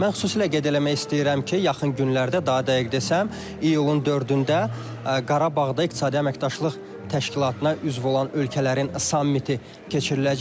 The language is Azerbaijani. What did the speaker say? Mən xüsusilə qeyd eləmək istəyirəm ki, yaxın günlərdə daha dəqiq desəm iyulun 4-də Qarabağda İqtisadi Əməkdaşlıq Təşkilatına üzv olan ölkələrin sammiti keçiriləcək.